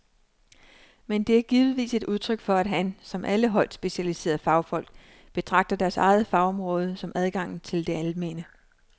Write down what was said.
Men det er givetvis et udtryk for at han, som alle højt specialiserede fagfolk, betragter deres eget fagområde som adgangen til det almene.